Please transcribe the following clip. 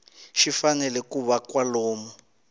xi fanele ku va kwalomu